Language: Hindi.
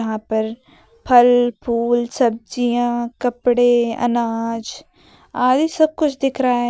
यहां पर फल फूल सब्जियां कपड़े अनाज आदि सब कुछ दिख रहा है।